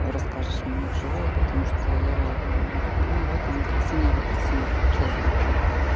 расскажешь мне в живую потому что я мм ну в этом как свинья в апельсинах вот честно прям